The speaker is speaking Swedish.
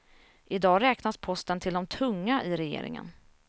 I dag räknas posten till de tunga i regeringen.